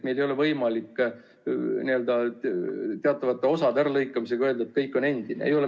Meil ei ole võimalik teatavate osade äralõikamisega öelda, et kõik on endine.